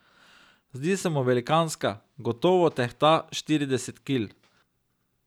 Zdi se mu velikanska, gotovo tehta štirideset kil.